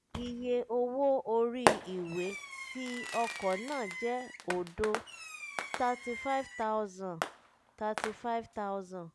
iye owó orí ìwé ti ọkọ̀ náà jẹ́ òdo (35000 - 35000)